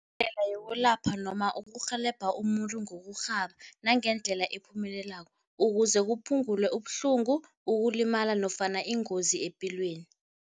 Indlela yokulapha noma ukurhelebha umuntu ngokurhaba nangendlela ephumelelako, ukuze kuphungulwe ubuhlungu, ukulimala nofana ingozi epilweni.